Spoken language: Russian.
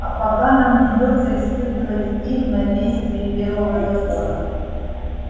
а пока нам придётся испытывать их на действие первого закона